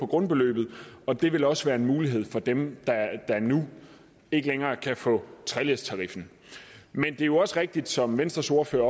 grundbeløbet og det vil også være en mulighed for dem der nu ikke længere kan få treledstariffen men det er jo også rigtigt som venstres ordfører